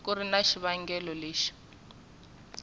ku ri na xivangelo lexi